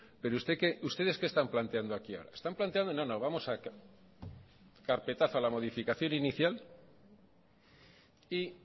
pero ustedes qué están planteando aquí ahora están planteando no no vamos a dar carpetazo a la modificación inicial y